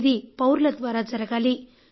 ఇది పౌరుల ద్వారా జరగాలి